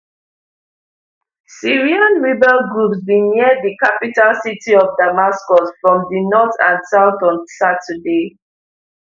syrian rebel groups bin near di capital city of damascus from di north and south on saturday